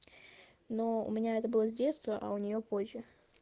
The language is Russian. но у меня это было с детства а у нее позже